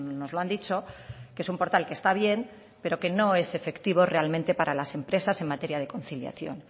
nos lo han dicho que es un portal que está bien pero que no es efectivo realmente para las empresas en materia de conciliación